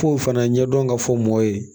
F'o fana ɲɛdɔn ka fɔ mɔ ye